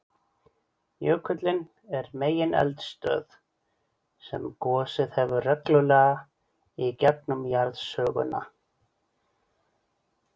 Jökullinn er megineldstöð sem gosið hefur reglulega í gegnum jarðsöguna.